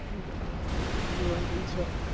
ગણી જગ્યાઓ જોવા જેવિ છે.